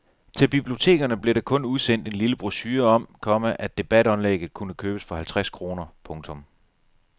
Til bibliotekerne blev der kun udsendt en lille brochure om, komma at debatoplægget kunne købes for halvtreds kroner. punktum